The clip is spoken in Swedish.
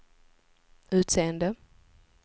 utseende